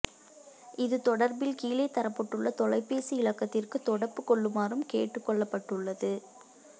இது தொடர்பில் கீழே தரப்பட்டுள்ள தொலைபேசி இலக்கத்திற்கு தொடப்பு கொள்ளுமாறும் கேட்டுக்கொள்ளப்பட்டுள்ளது